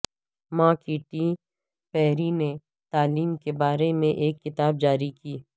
ماں Katy Perry نے تعلیم کے بارے میں ایک کتاب جاری کی